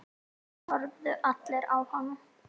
Þeir horfðu allir á hana.